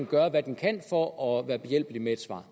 gøre hvad den kan for at være behjælpelig med et svar